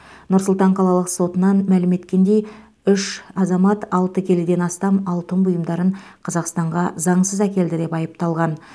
нұр сұлтан қалалық сотынан мәлім еткендей үш азамат алты келіден астам алтын бұйымдарын қазақстанға заңсыз әкелді деп айыпталған